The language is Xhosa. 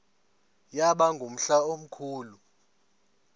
yaba ngumhla omkhulu